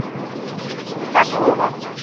покровом